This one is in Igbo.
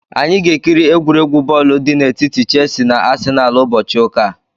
Anyị ga-ekiri egwuregwu bọọlụ dị n'etiti Chelsi na Asịnalụ ụbọchị ụka a.